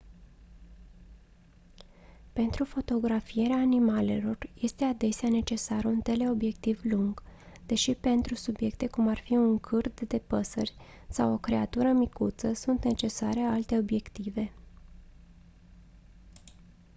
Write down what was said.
pentru fotografierea animalelor este adesea necesar un teleobiectiv lung deși pentru subiecte cum ar fi un cârd de păsări sau o creatură micuță sunt necesare alte obiective